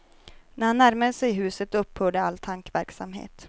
När han närmade sig huset upphörde all tankeverksamhet.